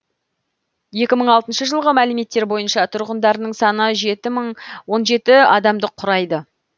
екі мың алтыншы жылғы мәліметтер бойынша тұрғындарының саны жеті мың он жеті адамды құрайды